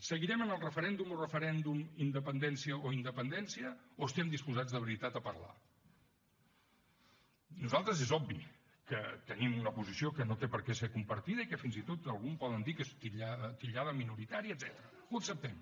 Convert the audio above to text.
seguirem en el referèndum o referèndum independència o independència o estem disposats de veritat a parlar nosaltres és obvi que tenim una posició que no té per què ser compartida i que fins i tot alguns poden titllar de minoritària etcètera ho acceptem